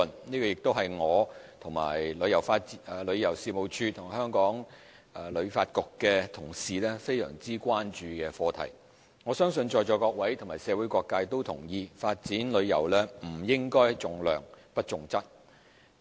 這亦是我和旅遊事務署及香港旅遊發展局的同事十分關注的課題。我相信在座各位和社會各界都同意，發展旅遊不應重量不重質。